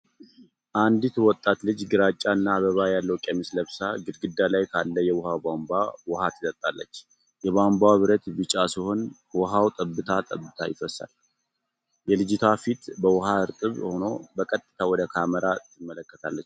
አንዲት ወጣት ልጅ ግራጫና አበባ ያለው ቀሚስ ለብሳ፣ ግድግዳ ላይ ካለ የውሃ ቧንቧ ውሃ ትጠጣለች። የቧንቧው ብረት ቢጫ ሲሆን፣ ውሃው ጠብታ ጠብታ ይፈሳል። የልጅቷ ፊት በውሃ እርጥብ ሆኖ፣ በቀጥታ ወደ ካሜራ ትመለከታለች።